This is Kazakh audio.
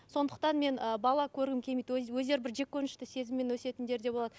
сондықтан мен ы бала көргім келмейді өз өздері бір жеккөрінішті сезіммен өсетіндер де болады